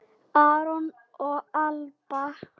Aron og Alba.